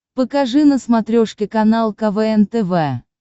покажи на смотрешке канал квн тв